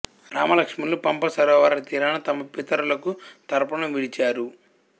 రామలక్ష్మణులు పంపా సరోవర తీరాన తమ పితరులకు తర్పణం విడిచారు